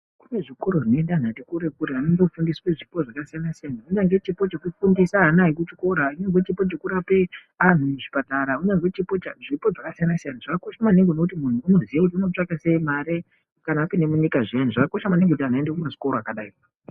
Kune zvikoro zvinoende antu ati kure-kure anondofundiswe zvipo zvakasiyana-siyana. kunyange chipo chekufundise ana ekuchikora, kunyange chipo chekurape antu muchipatara, kunyazwi zvipo zvakasiyana-siyana. Zvakakosha maningi ngokuti muntu unoziye kuti unotsvaka sei mare kana apinde munyika zviyani. Zvakakosha maningi kut antu aende kumazvikora akadai.